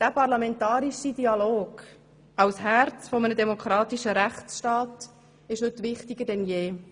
Dieser parlamentarische Dialog, als Herz eines demokratischen Rechtstaats, ist heute wichtiger denn je.